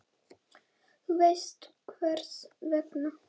Þú veist hvers vegna.